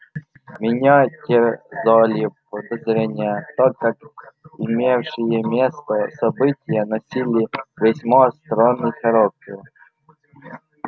меня терзали подозрения так как имевшие место события носили весьма странный характер